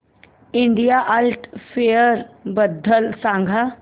India art fair बद्दल सांग